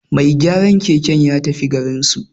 Mai gyaran keken ya tafi garinsu